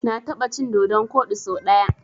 Na taɓa cin dodon koɗi so ɗaya.